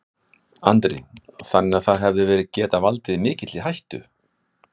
Andri: Þannig að það hefði getað valdið mikilli hættu?